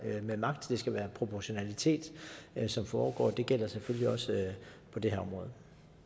med magt der skal være proportionalitet i det som foregår og det gælder selvfølgelig også på det her område